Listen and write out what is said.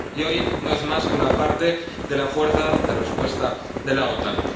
Y hoy no es más que una parte de la Fuerza de Respuesta de la OTAN.